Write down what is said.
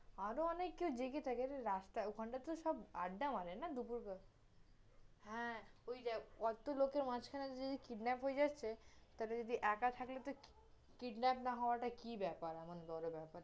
ভালো অনেকেও জেগে থাকে, রাস্তায়, ওখানটাতে সব আড্ডা মারে না দুপুর বেলায়, হ্যাঁ, ওই দে~ অট্টো লোকের মাজখানে যদি kidnap হয়ে যাচ্ছে, তাহলে যদি একা থাকলে কি~ kidnap না হওয়াটা কি বেপার, আমাকে বল বেপার